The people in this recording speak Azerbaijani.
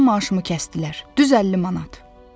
Mənim maaşımı kəsdilər, düz 50 manat.